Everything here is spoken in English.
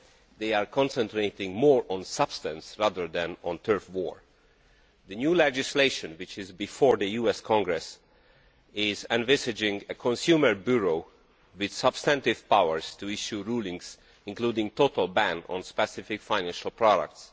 They are also concentrating more on substance than on a turf war. The new legislation, which is before the US Congress, envisages a consumer bureau with substantive powers to give rulings, including a total ban on specific financial products.